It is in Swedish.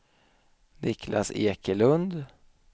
Niclas Ekelund